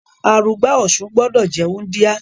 Arugba Ọ̀sun gbọ́dọ̀ jẹ́ wúndíá.